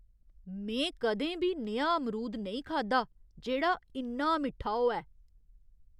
में कदें बी नेहा अमरूद नेईं खाद्धा जेह्ड़ा इन्ना मिट्ठा होऐ!